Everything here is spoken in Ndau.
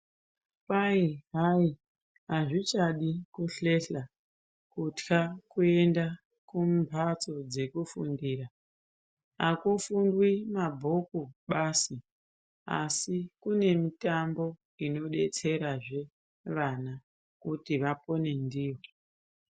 Kwai hayi azvichadi kuhlehla kutya kuenda kumpatso dzekufundira. Akufundwi mabhuku basi asi kune mitambo inodetserazve vana kuti vapone ndiyo.